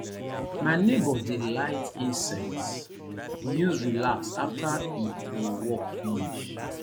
my nebor dey light incense use relax after e e work finish